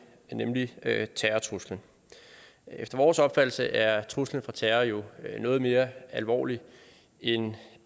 nemlig terrortruslen efter vores opfattelse er truslen fra terror jo noget mere alvorlig end